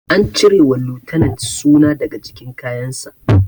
An cire wa lieutenant suna daga jikin kayan sa